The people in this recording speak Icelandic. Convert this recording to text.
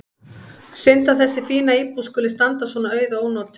Synd að þessi fína íbúð skuli standa svona auð og ónotuð.